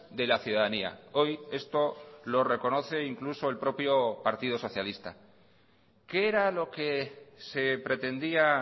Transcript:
de la ciudadanía hoy esto lo reconoce incluso el propio partido socialista qué era lo que se pretendía